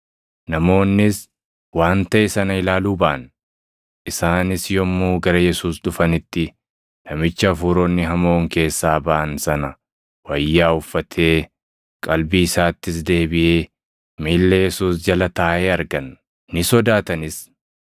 namoonnis waan taʼe sana ilaaluu baʼan. Isaanis yommuu gara Yesuus dhufanitti namicha hafuuronni hamoon keessaa baʼan sana wayyaa uffatee, qalbii isaattis deebiʼee miilla Yesuus jala taaʼee argan; ni sodaatanis.